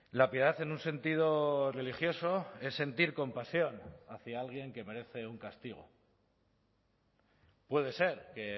la piedad en un sentido religioso es sentir compasión hacia alguien que merece un castigo puede ser que